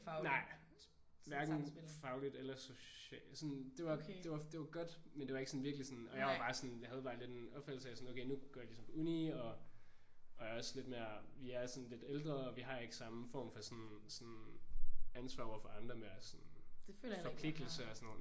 Nej. Hverken fagligt eller socialt sådan det var det var det var godt men det var ikke sådan virkeligt sådan. Og jeg var bare sådan jeg havde bare lidt en opfattelse af at sådan okay nu går jeg ligesom på uni og er også sådan lidt mere vi er sådan lidt ældre og vi har ikke samme form for sådan sådan ansvar over for andre mere sådan forpligtelser og sådan nogle